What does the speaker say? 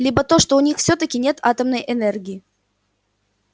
либо то что у них всё-таки нет атомной энергии